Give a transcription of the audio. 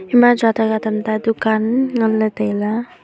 ema jataja tamta dukan nganley tailey.